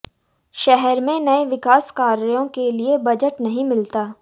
शहर में नए विकास कार्यों के लिए बजट नहीं मिलता